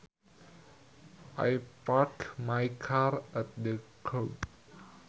I parked my car at the curb